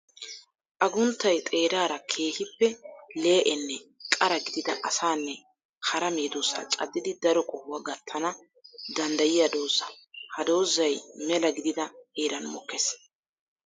Agunttay xeerara keehippe lee'enne qara gididda asanne hara medosa cadiddi daro qohuwa gattanna danddayiya dooza. Ha doozay mela gididda heeran mokkees.